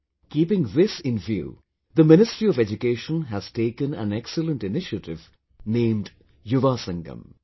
Keeping this in view, the Ministry of Education has taken an excellent initiative named 'Yuvasangam'